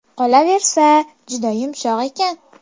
Qolaversa, juda yumshoq ekan.